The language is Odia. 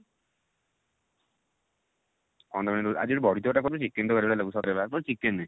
କଣ ତରକାରୀ କରିଛୁ ଆଜି ଗୋଟେ ବଡି ତରକାରୀ ଟା କରିଛି chicken ତରକାରୀ ଭଳିଆ ଲାଗୁଛି ସତରେ ବା ପୁରା chicken